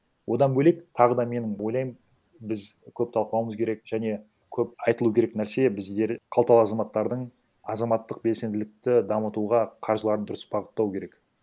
одан бөлек тағы да менің ойлаймын біз көп талқылауымыз керек және көп айтылу керек нәрсе біздер қалталы азаматтардың азаматтық белсенділікті дамытуға қаржыларын дұрыс бағыттауы керек